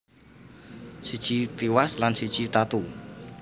Siji tiwas lan siji tatu